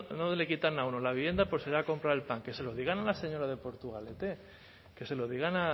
le quitan a uno la vivienda por irse a comprar el pan que se lo digan a la señora de portugalete que se lo digan